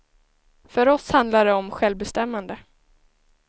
För oss handlar det om självbestämmande.